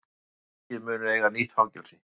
Ríkið mun eiga nýtt fangelsi